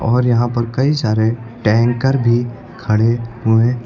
और यहां पर कई सारे टैंकर भी खड़े हुएं--